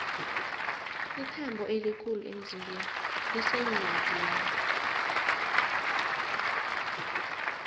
ithambo elikhulu emzimbeni liseenyongeni